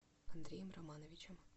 андреем романовичем